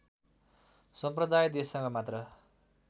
सम्प्रदाय देशसँग मात्र